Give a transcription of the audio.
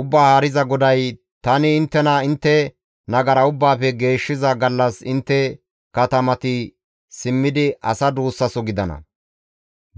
«Ubbaa Haariza GODAY, ‹Tani inttena intte nagara ubbaafe geeshshiza gallas intte katamati simmidi asa duussaso gidana;